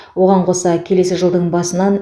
оған қоса келесі жылдың басынан